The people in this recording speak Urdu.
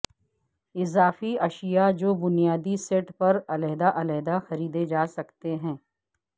اضافی اشیاء جو بنیادی سیٹ پر علیحدہ علیحدہ خریدے جا سکتے ہیں